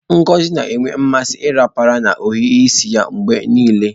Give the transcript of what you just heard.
Ngozi na-enwe mmasị ịrapara na ohiri isi ya mgbe niile.